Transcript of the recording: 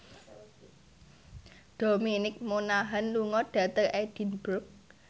Dominic Monaghan lunga dhateng Edinburgh